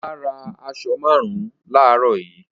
Ọlá ra aṣọ márùn-ún láàárọ̀ yìí.